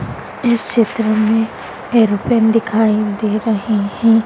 इस क्षेत्र में एयरप्लेन दिखाई दे रहे हैं।